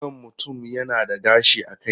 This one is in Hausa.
Kan mutum yana da gashi a kai.